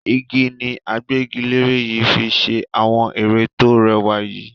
Igi ni agbẹ́gilere yìí fi ṣe àwọn ere to rẹwà yìí.